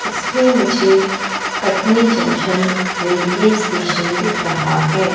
इसमें मुझे Katni junction railway station दिख रहा है।